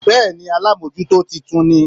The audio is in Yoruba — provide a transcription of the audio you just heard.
Béèni alámójútó titun ní